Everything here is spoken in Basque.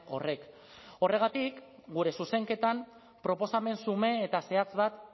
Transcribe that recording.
horrek horregatik gure zuzenketan proposamen xume eta zehatz bat